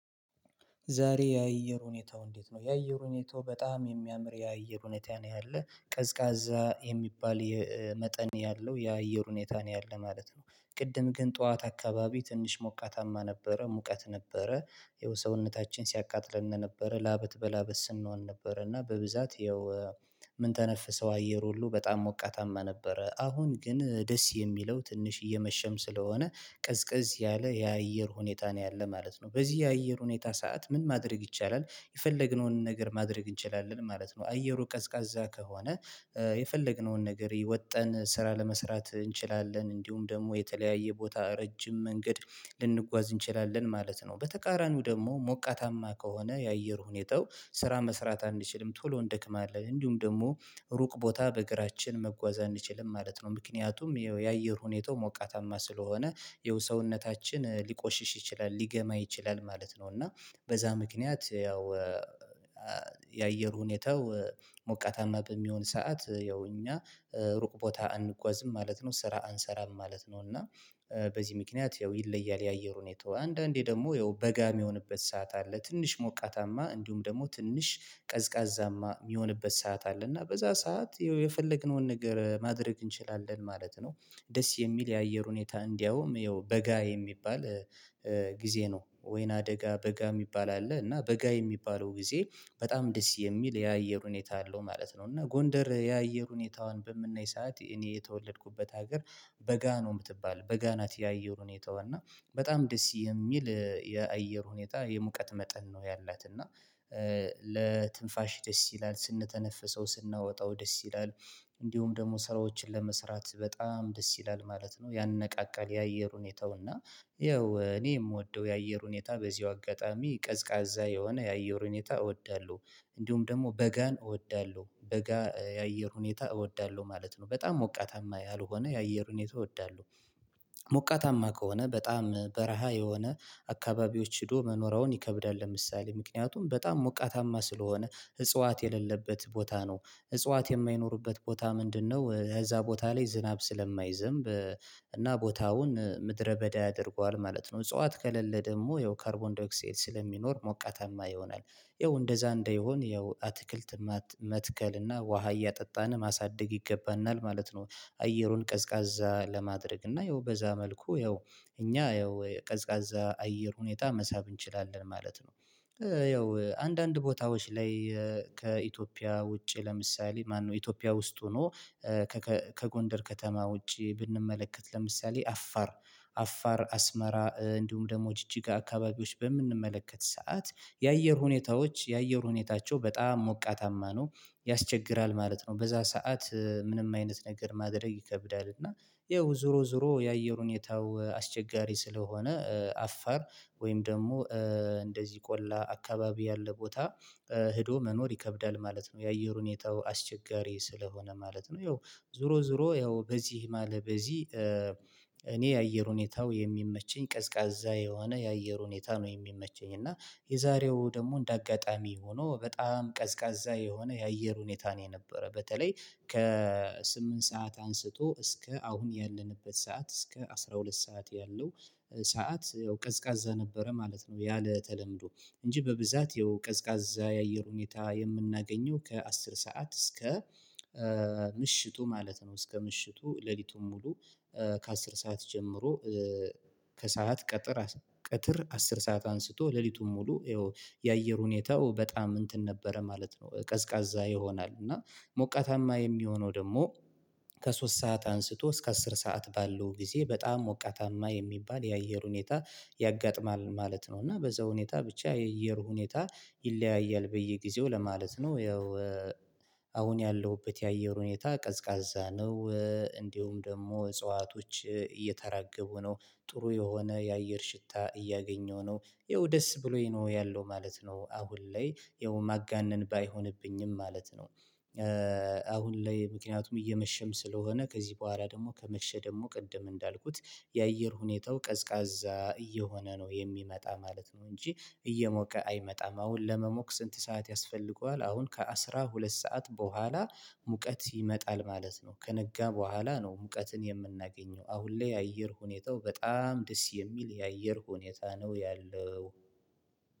ዛሬ የአየር ሁኔታው እንዴት ነው? የአየር ሁኔታው በጣም የሚያምር የአየር ሁኔታ ነው ያለው ቀዝቃዛ የሚባል የመጠን ያለው የአየር ሁኔታ ነው ያለው ማለት ነው። ቅድም ግን ጠዋት አካባቢ ትንሽ ሞቃታማ ነበረ ሙቀት ነበረ ያው ሰውነታችን ሲያቃጥለን ነበረ ላበት በላበት ስንሆን ነበረ እና በብዛት ያው ምን ተነፍሰው አየር ሁሉ በጣም ሞቃታማ ነበረ። አሁን ግን ደስ የሚለው ትንሽ እየመሸም ስለሆነ ቅዝቅዝ ያለ የአየር ሁኔታ ነው ያለ ማለት ነው። በዚህ የአየር ሁኔታ ሰዓት ምን ማድረግ ይቻላል የፈለግነውን ነገር ማድረግ እንችላለን ማለት ነው። አየሩ ቀዝቃዛ ከሆነ የፈለግነውን ነገር የወጣን ስራ ለመስራት እንችላለን እንዲሁም ደግሞ የተለያየ ቦታ ረጅም መንገድ ልንጓዝ እንችላለን ማለት ነው። በተቃራኒው ደግሞ ሞቃታማ ከሆነ የአየር ሁኔታው ስራ መስራት አንችልም ቶሎ እንደክማለን እንዲሁም ደግሞ ሩቅ ቦታ በእግራችን መጓዝ አንችልም ማለት ነው። ምክንያቱም ያው የአየር ሁኔታው ሞቃታማ ስለሆነ ያው ሰውነታችን ሊቆሽሽ ይችላል ሊገማ ይችላል ማለት ነው። እና በዛ ምክንያት ያው የአየር ሁኔታው ሞቃታማ በሚሆን ሰዓት ያው እኛ ሩቅ ቦታ አንጓዝም ማለት ነው ስራ አንሰራም ማለት ነው። እና በዚህ ምክንያት ያው ይለያል የአየር ሁኔታው አንዳንዴ ደግሞ ያው በጋ የሚሆንበት ሰዓት አለ ትንሽ ሞቃታማ እንዲሁም ደግሞ ትንሽ ቀዝቃዛማ የሚሆንበት ሰዓት አለ እና በዛ ሰዓት የፈለግነውን ነገር ማድረግ እንችላለን ማለት ነው። ደስ የሚል የአየር ሁኔታ እንዲያውም ያው በጋ የሚባል ጊዜ ነው ወይነሰ አደጋ በጋ የሚባል አለ እና በጋ የሚባለው ጊዜ በጣም ደስ የሚል የአየር ሁኔታ አለው ማለት ነው። እና ጎንደር የአየር ሁኔታዋን በምናይ ሰዓት እኔ የተወለድኩበት ሀገር በጋ ነው የምትባል በጋ ናት የአየር ሁኔታዋን እና በጣም ደስ የሚል የአየር ሁኔታ የሙቀት መጠን ነው ያላት እና ለትንፋሽ ደስ ይላል ስንተነፍሰው ስናወጣው ደስ ይላል። እንዲሁም ደግሞ ስራዎችን ለመስራት በጣም ደስ ይላል ማለት ነው ያነቃቃል የአየር ሁኔታው እና። ያው እኔ የምወደው የአየር ሁኔታ በዚሁ አጋጣሚ ቀዝቃዛ የሆነ የአየር ሁኔታ እወዳለሁ። እንዲሁም ደግሞ በጋን እወዳለሁ በጋ የአየር ሁኔታ እወዳለሁ ማለት ነው በጣም ሞቃታማ ያልሆነ የአየር ሁኔታ እወዳለሁ። ሞቃታማ ከሆነ በጣም በረሃ የሆነ አካባቢዎች ሄዶ መኖር አሁን ይከብዳል ለምሳሌ ምክንያቱም በጣም ሞቃታማ ስለሆነ ህጽዋት የሌለበት ቦታ ነው። እጽዋት የማይኖርበት ቦታ ምንድነው እዛ ቦታ ላይ ዝናብ ስለማይዘንብ እና ቦታውን ምድረ በዳ ያደርገዋል ማለት ነው። እጽዋት ከሌለ ደግሞ ያው ካርቦንዳ ኦክሳይድ ስለሚኖር ሞቃታማ ይሆናል። ያው እንደዛ እንዳይሆን ያው አትክልት መትከል እና ውሃ እያጠጣን ማሳደግ ይገባናል ማለት ነው። አየሩን ቀዝቃዛ ለማድረግ እና ያው በዛ መልኩ ያው እኛ ያው ቀዝቃዛ አየር ሁኔታ መሳብ እንችላለን ማለት ነው። ያው አንዳንድ ቦታዎች ላይ ከኢትዮጵያ ውጪ ለምሳሌ ማነው ኢትዮጵያ ውስጥ ሆኖ ከጎንደር ከተማ ውጪ ብንመለከት ለምሳሌ አፋር አፋር አስመራ እንዲሁም ደግሞ ደግሞ ጅጅጋ አካባቢዎች በምንመለከት ሰዓት የአየር ሁኔታዎች የአየር ሁኔታቸው በጣም ሞቃታማ ነው ያስቸግራል ማለት ነው። በዛ ሰዓት ምንም አይነት ነገር ማድረግ ይከብዳል እና። ያው ዙሮ ዙሮ የአየር ሁኔታው አስቸጋሪ ስለሆነ አፋር ወይም ደግሞ እንደዚህ ቆላ አካባቢ ያለ ቦታ ሄዶ መኖር ይከብዳል ማለት ነው። የአየር ሁኔታው አስቸጋሪ ስለሆነ ማለት ነው። ያው ዙሮ ዙሮ ያው በዚህ አለ በዚህ እኔ የአየር ሁኔታው የሚመቸኝ ቀዝቃዛ የሆነ የአየር ሁኔታ ነው የሚመቸኝ እና። የዛሬው ደግሞ እንደ አጋጣሚ ሆኖ በጣም ቀዝቃዛ የሆነ የአየር ሁኔታ ነው የነበረው። በተለይ ከስምንት ሰዓት አንስቶ እስከ አሁን ያለንበት ሰዓት እስከ አስራ ሁለት ሰዓት ያለው ሰዓት ያው ቀዝቃዛ ነበረ ማለት ነው። ያለ ተለምዶ እንጂ በብዛት የቀዝቃዛ የአየር ሁኔታ የምናገኘው ከ አስር ሰዓት እስከ ምሽቱ ማለት ነው። እስከ ምሽቱ ሌሊቱን ሙሉ ከአስር ሰዓት ጀምሮ ከሰአት ቀጥር ቀትር አስር ሰዓት አንስቶ ሌሊቱን ሙሉ ያአየር ሁኔታው በጣም እንትን ነበረ ማለት ነው። ቀዝቃዛ ይሆናል እና ሞቃታማ የሚሆነው ደግሞ ከሶስት ሰዓት አንስቶ እስከ አስር ሰዓት ባለው ጊዜ በጣም ወቃታማ የሚባል የአየር ሁኔታ ያጋጥማል ማለት ነው። እና በዛ ሁኔታ ብቻ የእየር ሁኔታ ይለያያል በየጊዜው ለማለት ነው። ያው አሁን ያለሁበት የአየር ሁኔታ ቀዝቃዛ ነው። እንዲሁም ደግሞ እጽዋቶች እየተራገቡ ነው ጥሩ የሆነ የአየር ሽታ እያገኘው ነው ያው ደስ ብሎኝ ነው ያለው ማለት ነው። አሁን ላይ ያው ማጋነን ባይሆንብኝም ማለት ነው። አሁን ላይ ምክንያቱም እየመሸም ስለሆነ ከዚህ በኋላ ደግሞ ከመሸ ደግሞ ቅድም እንዳልኩት የአየር ሁኔታው ቀዝቃዛ እየሆነ ነው የሚመጣ ማለት ነው። እንጂ እየሞቀ አይመጣም አሁን ለመሞቅ ስንት ሰዓት ያስፈልገዋል አሁን ከአስራ ሁለት ሰዓት በኋላ ሙቀት ይመጣል ማለት ነው። ከነጋ በኋላ ነው ሙቀትን የምናገኘው አሁን ላይ የአየር ሁኔታው በጣም ደስ የሚል የአየር ሁኔታ ነው። ያለው